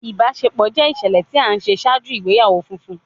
Ibaṣepọ jẹ iṣẹlẹ ti a ṣe ṣaaju igbeyawo funfun